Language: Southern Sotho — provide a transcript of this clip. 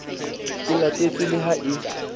e latetswe le ha e